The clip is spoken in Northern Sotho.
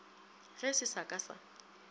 ge se sa ka sa